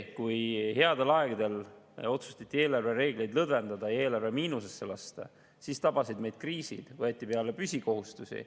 Kui headel aegadel otsustati eelarvereegleid lõdvendada ja eelarve miinusesse lasta, siis tabasid meid kriisid, võeti peale püsikohustusi.